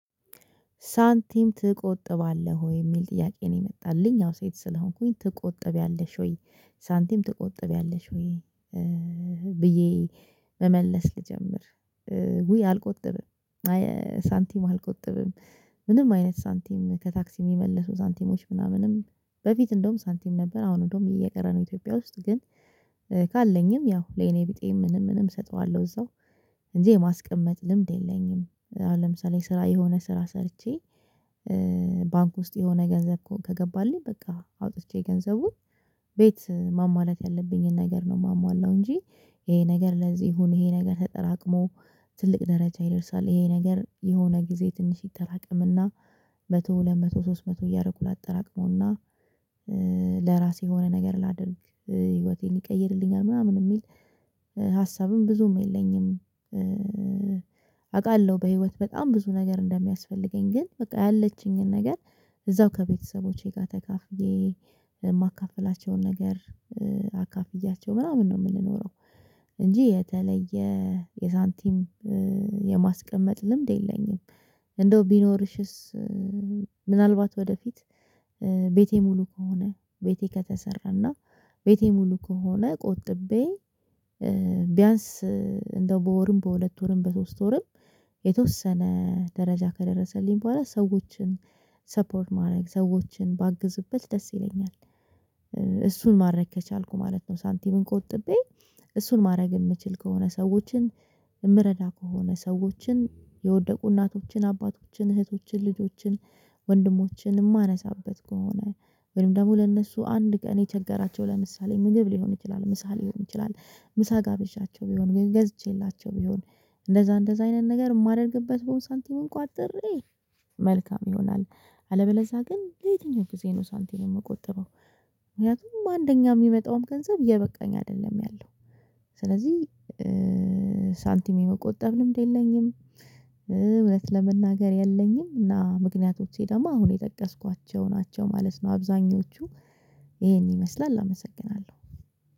ሳንቲም ትቆጥባለህ ወይ የሚል ጥያቄ ነው የመጣልኝ ያው ሴት ስለሆንኩኝ ትቆጥቢያለሽ ወይ? ሳንቲም ትቆጥቢያለሽ ሆይ ብዬ መመለስ ልጀምር ውይ አልቆጥብም ሳንቲም አልቆጥብም። ምንም አይነት ሳንቲም ከታክሲ የሚመለሱ ሳንቲሞች ምናምንም በፊት እንደውም ሳንቲም ነበር አሁን እንደውም እየቀረ ነው ኢትዮጵያ ውስጥ ግን ካለኝም ያው ለየኔቢጤም ምንም ምንም እሰጠዋለሁ እዛው እንጂ የማስቀመጥ ልምድ የለኝም። አሁን ለምሳሌ ስራ የሆነ ስራ ሰርቼ ባንክ ውስጥ የሆነ ገንዘብ ከገባልኝ በቃ አውጥቼ ገንዘቡን ቤት ማሟላት ያለብኝን ነገር ነው የማሟላው እንጂ ይሄ ነገር ለዚህ ይሁን ይሄ ነገር ተጠራቅሞ ትልቅ ደረጃ ይደርሳል ይሄ ነገር የሆነ ጊዜ ትንሽ ይጠራቀምና መቶ ሁለት መቶ ሶስት መቶ እያረኩ ላጠራቅመውና ለራሴ የሆነ ነገር ላድርግ ህይወቴን ይቀይርልኛል ምናምን የሚል ሀሳብም ብዙም የለኝም። አውቃለሁ በህይወት በጣም ብዙ ነገር እንደሚያስፈልገኝ ግን በቃ ያለችኝን ነገር እዛው ከቤተሰቦቼ ጋር ተካፍዬ የማካፍላቸውን ነገር አካፍያቸው ምናምን ነው የምንኖረው እንጂ የተለየ የሳንቲም የማስቀመጥ ልምድ የለኝም። እንደው ቢኖርሽስ ምናልባት ወደፊት ቤቴ ሙሉ ከሆነ ቤቴ ከተሰራና ቤቴ ሙሉ ከሆነ ቆጥቤ ቢያንስ እንደው በወርም በሁለት ወርም በሶስት ወርም የተወሰነ ደረጃ ከደረሰልኝ በኋላ ሰዎችን ሰፖርት ማድረግ ሰዎችን ባግዝበት ደስ ይለኛል እሱን ማድረግ ከቻልኩ ማለት ነው። ሳንቲሙን ቆጥቤ እሱን ማድረግ የምችል ከሆነ ሰዎችን የምረዳ ከሆነ ሰዎችን የወደቁ እናቶችን አባቶችን እህቶችን ልጆችን ወንድሞችን የማነሳበት ከሆነ ወይም ደግሞ ለእነሱ አንድ ቀን የቸገራቸው ለምሳሌ ምግብ ሊሆን ይችላል ምሳ ሊሆን ይችላል ምሳ ጋብዣቸው ቢሆን ገዝቼላቸው ቢሆን እንደዛ እንደዛ አይነት ነገር የማደርግበት ቦታ ሳንቲሙን ቋጥሬ መልካም ይሆናል። አለበለዛ ግን ለየትኛው ጊዜ ነው ሳንቲም የምቆጥበው። ምክንያቱም አንደኛ የሚመጣውም ገንዘብ እየበቃኝ አይደለም ያለው ስለዚህ ሳንቲም የመቆጠብ ልምድ የለኝም። እውነት ለመናገር የለኝም እና ምክንያቶቼ ደግሞ አሁን የጠቀስኳቸው ናቸው ማለት ነው። አብዛኞቹ ይሄን ይመስላል አመሰግናለሁ